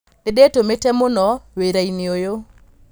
Nĩ ndĩ tũmĩ te mũno wĩ rainĩ ũyũ.